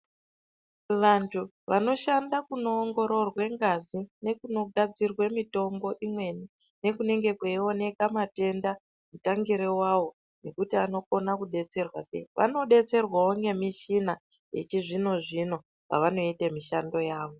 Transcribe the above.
Vantu vanoshanda kunoongororwe ngazi nekunogadzirwe mitombo imweni nekunenge kweioneka matenda mutangire wawo zvekuti anokone kubetserwa, vanobetserwawo ngemishina yechizvino zvino pavanoite mishando yawo.